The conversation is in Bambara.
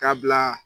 K'a bila